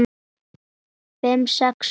Fimm, sex hundruð krónur?